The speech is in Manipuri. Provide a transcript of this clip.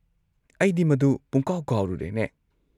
ꯑꯩꯗꯤ ꯃꯗꯨ ꯄꯨꯡꯀꯥꯎ ꯀꯥꯎꯔꯨꯔꯦꯅꯦ꯫